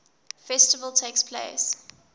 festival takes place